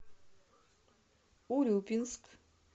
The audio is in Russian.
урюпинск